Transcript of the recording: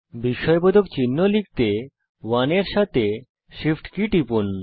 বিস্ময়বোধক চিহ্ন লিখতে 1 এর সাথে Shift কী টিপুন